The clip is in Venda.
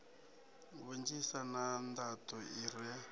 vhunzhisa na nḓaḓo i re